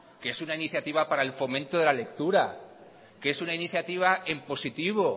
que es una iniciativa para el fomento de la lectura que es una iniciativa en positivo